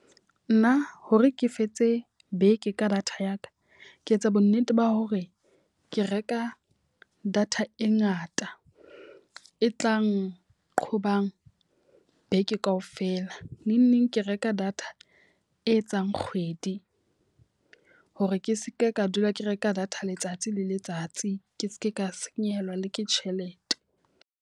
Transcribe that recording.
Nna hore ke fetse beke ka data ya ka. Ke etsa bo nnete ba hore ke reka data e ngata e tlang nqobang beke ka ofela. Neng neng ke reka data e etsang kgwedi hore ke seke ka dula ke reka data letsatsi le letsatsi. Ke seke ka senyehelwa le ke tjhelete.